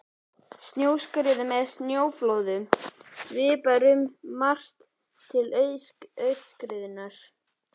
Snjóskriðum eða snjóflóðum svipar um margt til aurskriðna.